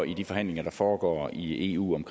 i de forhandlinger der foregår i eu om